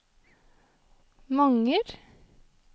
Manger